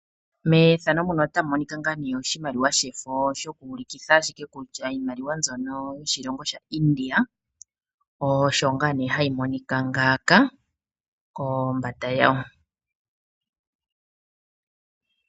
Methano muno otamu monika ngaa nee oshimaliwa shefo shoku ulikitha ashike kutya iimaliwa mbyono yoshilongo sha India osho ngaa nee hayi monika ngaaka kombanda yo